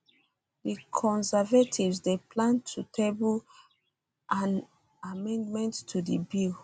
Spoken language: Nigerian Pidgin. di di conservatives dey plan to table an amendment to di bill